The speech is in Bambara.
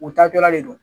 U taatɔla de do